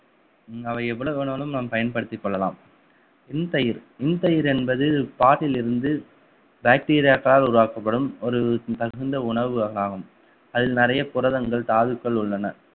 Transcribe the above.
அவை எவ்வளவு வேணாலும் நாம் பயன்படுத்திக் கொள்ளலாம் இன் தயிர் இன் தயிர் என்பது பாலில் இருந்து bacteria க்களால் உருவாக்கப்படும் ஒரு தகுந்த உணவு ஆகும் அதில் நிறைய புரதங்கள் தாதுக்கள் உள்ளன